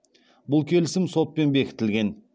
бұл келісім сотпен бекітілген